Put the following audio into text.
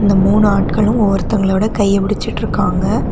இந்த முணு ஆட்களும் ஒருத்தவங்களோட கைய புடிச்சிட்டு இருக்காங்க.